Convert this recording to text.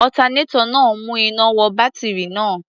Alternator náà ń mú iná wọ bátírì náà.